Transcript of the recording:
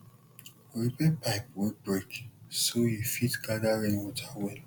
repair pipe wey break so you fit gather rainwater well